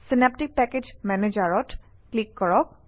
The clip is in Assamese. চিনাপ্টিক পেকেজ মেনেজাৰত ক্লিক কৰক